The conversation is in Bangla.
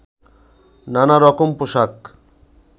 নানা রকম পোশাক